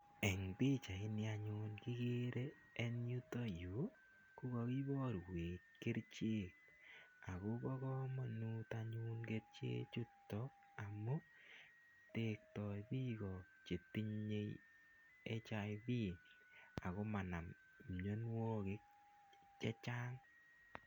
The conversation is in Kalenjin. Eng' pichaini anyun kikere eng' yutayu ko kaiparwech kerichek ako pa kamanut anyun kerichechutok amu tektai piko che tinye HIV ako ma nam mianwagik che chang'.